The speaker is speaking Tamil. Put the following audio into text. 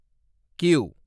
கியூ